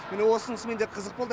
міне осынысымен де қызық болды